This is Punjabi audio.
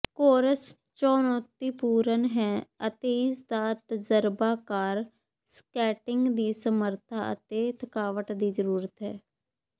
ਕੋਰਸ ਚੁਣੌਤੀਪੂਰਨ ਹੈ ਅਤੇ ਇਸਦਾ ਤਜ਼ਰਬਾਕਾਰ ਸਕੇਟਿੰਗ ਦੀ ਸਮਰੱਥਾ ਅਤੇ ਥਕਾਵਟ ਦੀ ਜ਼ਰੂਰਤ ਹੈ